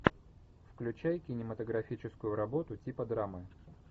включай кинематографическую работу типа драмы